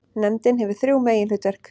Nefndin hefur þrjú meginhlutverk.